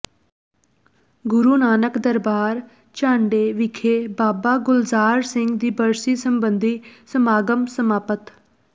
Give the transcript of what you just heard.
ਗੁਰੂ ਨਾਨਕ ਦਰਬਾਰ ਝਾਂਡੇ ਵਿਖੇ ਬਾਬਾ ਗੁਲਜ਼ਾਰ ਸਿੰਘ ਦੀ ਬਰਸੀ ਸਬੰਧੀ ਸਮਾਗਮ ਸਮਾਪਤ